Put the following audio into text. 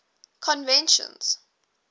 conventions